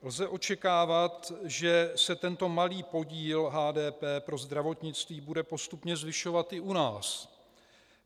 Lze očekávat, že se tento malý podíl HDP pro zdravotnictví bude postupně zvyšovat i u nás.